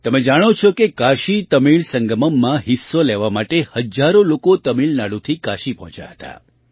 તમે જાણો છો કે કાશીતમિળ સંગમમમાં હિસ્સો લેવા માટે હજારો લોકો તમિળનાડુથી કાશી પહોંચ્યા હતા